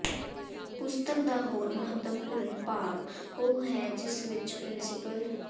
ਪੁਸਤਕ ਦਾ ਹੋਰ ਮਹੱਤਵਪੂਰਨ ਭਾਗ ਉਹ ਹੈ ਜਿਸ ਵਿਚ ਪ੍ਰਿੰ